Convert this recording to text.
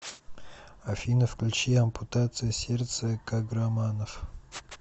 афина включи ампутация сердца каграманов